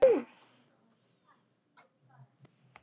Ég skil það samt alveg.